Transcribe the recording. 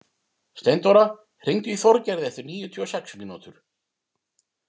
Steindóra, hringdu í Þorgerði eftir níutíu og sex mínútur.